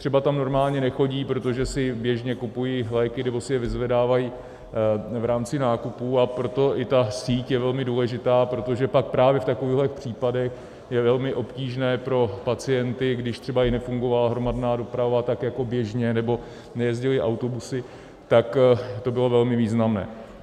Třeba tam normálně nechodí, protože si běžně kupují léky nebo si je vyzvedávají v rámci nákupů, a proto i ta síť je velmi důležitá, protože pak právě v takovýchto případech je velmi obtížné pro pacienty, když třeba jim nefungovala hromadná doprava tak jako běžně, nebo nejezdily autobusy, tak to bylo velmi významné.